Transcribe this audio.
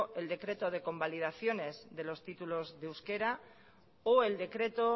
el decreto de convalidaciones de los títulos de euskara o el decreto